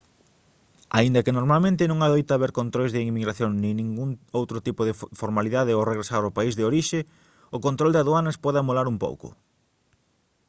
aínda que normalmente non adoita haber controis de inmigración nin ningún outro tipo de formalidade ao regresar ao país de orixe o control de aduanas pode amolar un pouco